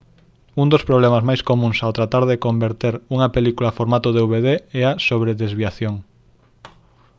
un dos problemas máis comúns ao tratar de converter unha película a formato dvd é a sobredesviación